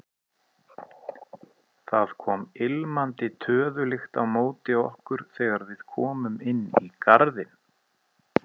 Það kom ilmandi töðulykt á móti okkur þegar við komum inn í garðinn.